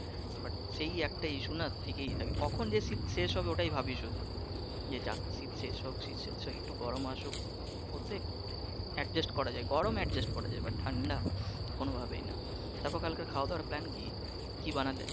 But সেই একটা issue না থেকেই যায় কখন যে শীত শেষ হবে ঐটাই ভাবী শুধু যে যাক খুশি শীত শেষ হোক শীত শেষ হোক একটু গরম আসুক অতএব adjust করা যায় গরম adjust করা যায় but ঠান্ডা কোনভাবেই না। তারপর কালকের খাওয়া দাওয়ার plane কি? কি বানালে?